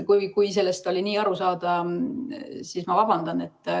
Kui sellest võis nii aru saada, siis ma vabandan.